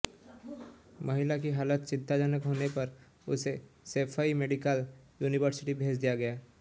महिला की हालत चिंताजनक होने पर उसे सैफई मेडिकल यूनिवर्सिटी भेज दिया गया